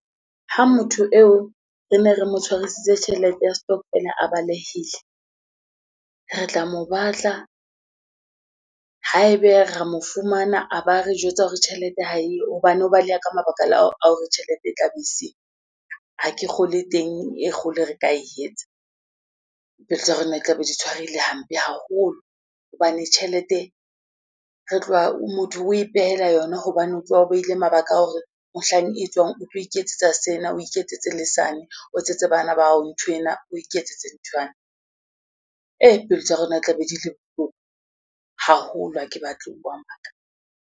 Ha motho eo re ne re mo tshwarisitse tjhelete ya stockvel-a a balehile, re tla mo batla haebe ra mo fumana a ba re jwetsa hore tjhelete ha eyo, hobane o baleha ka mabaka a hore tjhelete e tla be e le siyo. Ha ke kgolwe e teng e kgolo re ka e etsa, pelo tsa rona e tla be di tshwarehile hampe haholo. Hobane tjhelete re tloha motho o ipehela yona hobane o tloha o behile mabaka a hore mohlang e tswang, o tlo iketsetsa sena, o iketsetse le sane, o etsetse bana bao nthwena, o iketsetse nthwane. Eh pelo tsa rona e tla be di le bohloko haholo ha ke batle ho bua maka.